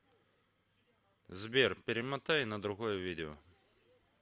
сбер перемотай на другое видео